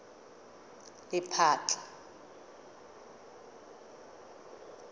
lephatla